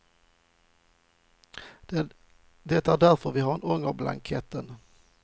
Det är därför vi har ångerblanketten.